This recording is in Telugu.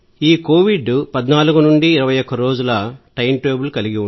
ఇది కోవిడ్ 14 నుండి 21 రోజుల టైమ్ టేబుల్